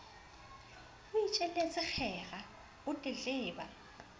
o itjelletse kgera o tletleba